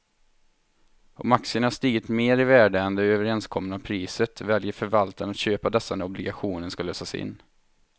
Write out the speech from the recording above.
Om aktierna har stigit mer i värde än det överenskomna priset väljer förvaltaren att köpa dessa när obligationen ska lösas in.